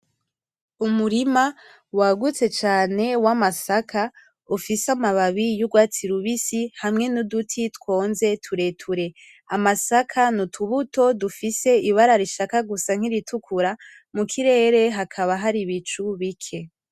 Umurima wagutse cane w'amasaka ufise amababi 'urwatsi rubisi hamwe nu duti twonze tureture, amasaka ni utubuto dufise ibara rishaka gusa nkiritukura. Mukirere hakaba hari ibicu bike.